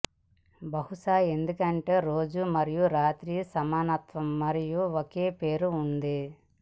బహుశా ఎందుకంటే రోజు మరియు రాత్రి సమానత్వం మరియు ఒక పేరు ఉంది